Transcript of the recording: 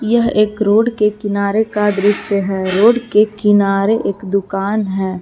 यह एक रोड के किनारे का दृश्य है रोड के किनारे एक दुकान है।